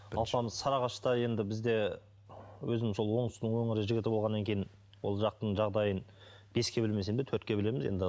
алпамыс сарыағашта енді біз де өзім сол оңтүстіктің өңірі жігіті болғаннан кейін ол жақтың жағдайын беске білмесем де төртке білеміз енді